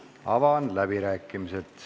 Avan läbirääkimised.